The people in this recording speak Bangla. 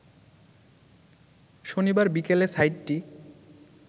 শনিবার বিকেলে সাইটটি